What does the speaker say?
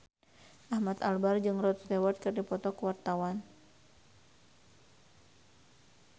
Ahmad Albar jeung Rod Stewart keur dipoto ku wartawan